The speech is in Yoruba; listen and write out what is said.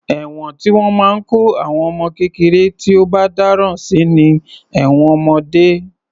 Ẹ̀wọ̀n tí wọ́n máa ń kó àwọn ọmọ kékeré tí ó bá dáràn sí ni ẹ̀wọ̀n ọmọdé.